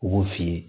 U b'o f'i ye